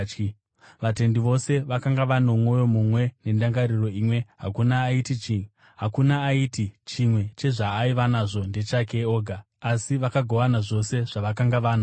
Vatendi vose vakanga vano mwoyo mumwe nendangariro imwe. Hakuna aiti chimwe chezvaaiva nazvo ndechake oga, asi vakagovana zvose zvavakanga vanazvo.